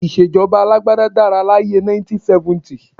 Ìṣèjọba alágbádá dára láyé ẹ 1970